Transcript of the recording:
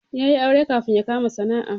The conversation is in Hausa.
Ya yi aure kafin yabkama sana'a